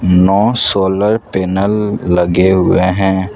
No solar panel लगे हुए हैं।